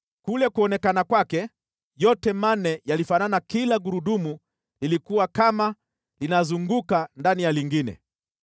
Kule kuonekana kwake, yote manne yalifanana kila gurudumu lilikuwa kama linazunguka ndani ya lingine.